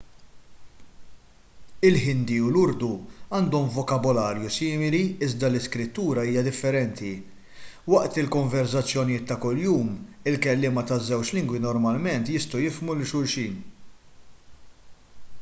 il-ħindi u l-urdu għandhom vokabularju simili iżda l-iskrittura hija differenti waqt il-konverżazzjonijiet ta' kuljum il-kelliema taż-żewġ lingwi normalment jistgħu jifhmu lil xulxin